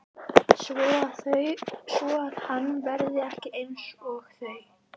Svoað hann verði ekki einsog þau.